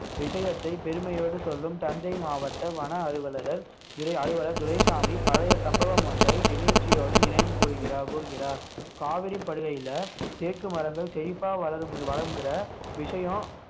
விஷயத்தை பெருமையோடு சொல்லும் தஞ்சை மாவட்ட வன அலுவலர் துறை அலுவலர் துரைசாமி பழைய சம்பவம் ஒன்றை நெகிழ்ச்சியோடு நினைவு கூறுகிறா~ கூறுகிறார் காவிரிப்படுகையில தேக்கு மரங்கள் செழிப்பா வளரும் வளம்ங்கிற விஷயம்